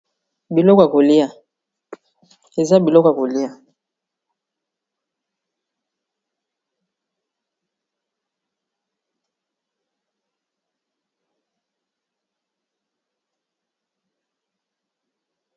eza biloko ya kolia